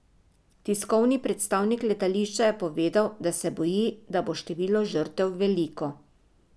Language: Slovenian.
Tiskovni predstavnik letališča je povedal, da se boji, da bo število žrtev veliko.